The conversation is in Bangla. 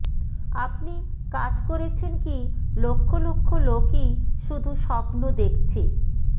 আপনি কাজ করেছেন কি লক্ষ লক্ষ লোকই শুধু স্বপ্ন দেখছে